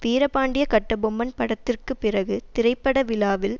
வீரபாண்டிய கட்டபொம்மன் படத்திற்கு பிறகு திரைப்பட விழாவில்